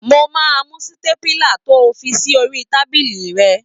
Mo mú sítépùlà to fi sí orí tábìlì rẹ.